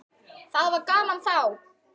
Það var gaman þá.